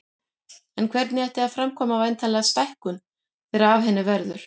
En hvernig ætti að framkvæma væntanlega stækkun þegar af henni verður.